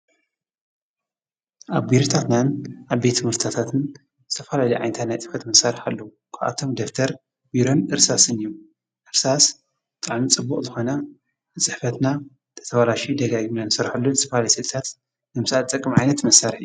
ኣብ ቢሮታትና ኣብ ትምህርትታትን ዝተፋላለዩ ናይ ፅሕፈት መሳርሕታት ኣለዉ ካብኣቶም ደፍተር ቢሮን እርሳሰን እዮም። እርሳሰ ብጣዕሚ ፅቡቅ ዝኮነ ንፅሕፈትና ተተባላሹ ደጋጊምና ንሰርሐሉ ንዝተፋላለየ ስስእልታት ዝጥቅም እዩ::